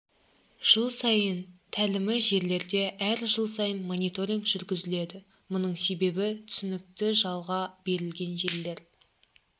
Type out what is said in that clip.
жыл сайын тәлімі жерлерде әр жыл сайын мониторинг жүргізіледі мұның себебі түсінікті жалға берілген жерлер